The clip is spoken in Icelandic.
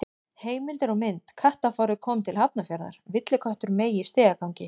Heimildir og mynd: Kattafárið komið til Hafnarfjarðar: Villiköttur meig í stigagangi.